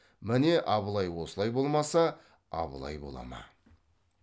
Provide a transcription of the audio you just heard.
міне абылай осылай болмаса абылай бола ма